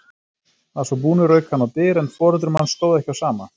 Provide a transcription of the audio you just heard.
Að svo búnu rauk hann á dyr en foreldrum hans stóð ekki á sama.